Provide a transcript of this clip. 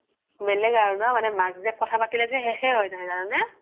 বেলেগ আৰু ন মাক জিয়েক কথা পতিলে যে সেশে হৈ নাহে জানানে